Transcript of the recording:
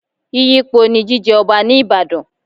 Yíyípo ni jíjẹ Ọba ní Ìbàdàn.